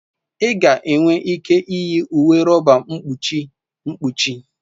Ị ga-enwe ike iyi uwe rọba mkpuchi mkpuchi.